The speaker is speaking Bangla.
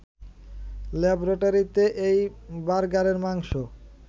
ল্যাবরেটরিতে এই বার্গারের মাংস